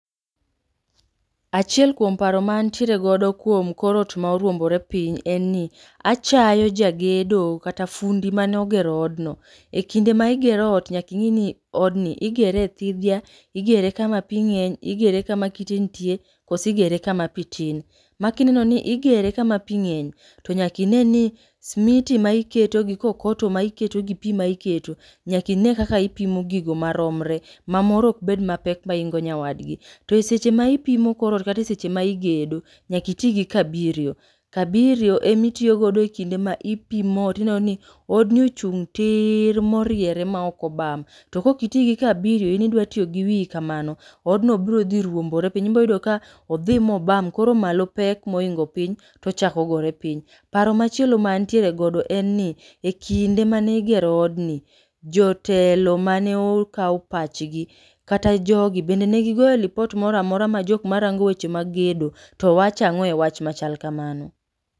Achiel kuom paro ma antiere godo kuom korot ma oruombore piny en ni. Achayo ja gedo kata fundi mane ogero odno. E kinde ma igero ot nyaking'e ni odni igere e thidhia, igere kama pi ng'eny, igere kama kite nitie, kose igere kama pi tin. Ma kineno ni igere kama pi ng'eny to nyaki ne ni smiti ma iketo gi kokoto ma iketo gi pi ma iketo nyaka ine ni ipimo gigo maromre. Ma moro ok bed mapek maingo nyawadgi. To e seche ma ipimo korot kata e seche ma igedo, nyaki ti gi kabirio. Kabirio emitiyogodo e kinde ma ipimo ot ineno ni odni ochung' tiir moriere maok obam. To kokiti gi kabirio in idwa tiyo gi wiyi kamano, odno bro dhi ruombore piny. Iboyudo ka odhi mobam koro malo pek moingo piny, tochako gore piny. Paro machielo ma antiere godo en ni e kinde mane igero odni, jotelo mane okaw pachgi kata jogi bende negigoye lipot moramora ma jokma rango weche mag gedo to wache ang'o e wach machal kamano.